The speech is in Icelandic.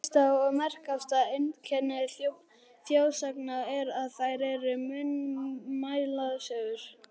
Fyrsta og merkasta einkenni þjóðsagna er, að þær eru munnmælasögur.